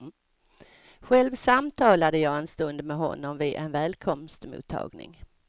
Själv samtalade jag en stund med honom vid en välkomstmottagning.